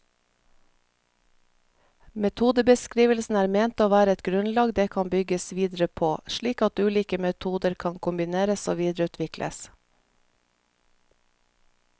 Metodebeskrivelsene er ment å være et grunnlag det kan bygges videre på, slik at ulike metoder kan kombineres og videreutvikles.